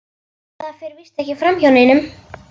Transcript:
Það fer víst ekki framhjá neinum.